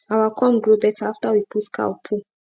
our corn grow better after we put cow poo